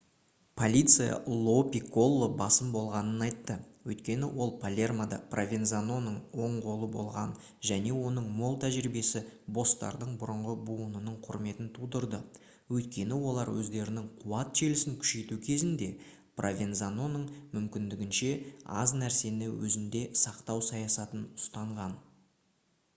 полиция ло пикколо басым болғанын айтты өйткені ол палермода провензаноның оң қолы болған және оның мол тәжірибесі босстардың бұрынғы буынының құрметін тудырды өйткені олар өздерінің қуат желісін күшейту кезінде провензаноның мүмкіндігінше аз нәрсені өзінде сақтау саясатын ұстанған